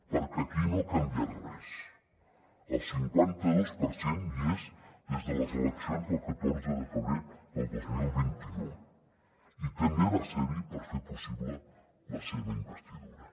perquè aquí no ha canviat res el cinquanta dos per cent hi és des de les eleccions del catorze de febrer del dos mil vint u i també va ser hi per fer possible la seva investidura